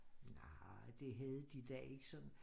Nej det havde de da ikke sådan